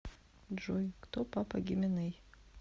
джой кто папа гименей